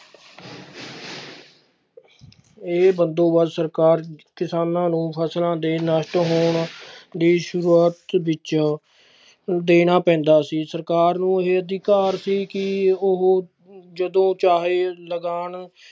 ਇਹ ਬੰਦੋਬਸਤ ਸਰਕਾਰ ਕਿਸਾਨਾਂ ਨੂੰ ਫਸਲਾਂ ਦੇ ਨਸ਼ਟ ਹੋਣ ਦੀ ਸ਼ੁਰੂਆਤ ਵਿੱਚ ਦੇਣਾ ਪੈਂਦਾ ਸੀ ਸਰਕਾਰ ਨੂੰ ਇਹ ਅਧਿਕਾਰ ਸੀ ਕਿ ਉਹ ਜਦੋਂ ਚਾਹੇ ਲਗਾਨ